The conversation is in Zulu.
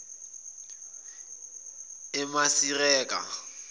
emasireka